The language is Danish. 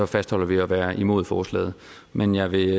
fastholder vi at være imod forslaget men jeg vil